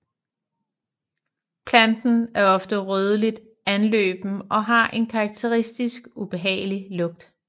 Planten er ofte rødligt anløben og har en karakteristisk ubehagelig lugt